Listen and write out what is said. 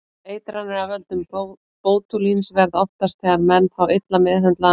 Eitranir af völdum bótúlíns verða oftast þegar menn fá illa meðhöndlaðan mat.